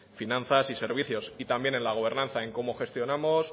finanzas y servicios y también en la gobernanza en cómo gestionamos